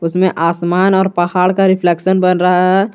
इसमें आसमान और पहाड़ का रिफ्लेक्शन बन रहा है।